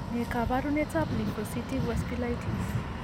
Ne kaabarunetap Lymphocytic vasculitis?